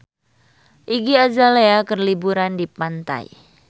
Iggy Azalea keur liburan di pantai